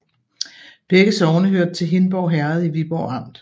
Begge sogne hørte til Hindborg Herred i Viborg Amt